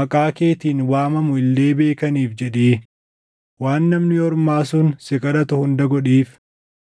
maqaa keetiin waamamu illee beekaniif jedhii waan namni ormaa sun si kadhatu hunda godhiif.